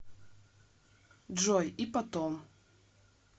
джой и потом